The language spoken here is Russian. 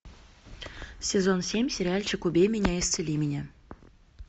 сезон семь сериальчик убей меня исцели меня